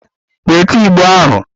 Weta Igbo ahụ!